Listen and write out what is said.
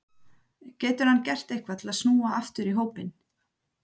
Getur hann gert eitthvað til að snúa aftur í hópinn?